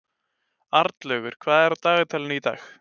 Arnlaugur, hvað er á dagatalinu í dag?